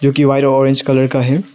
दीवार orange colour का है।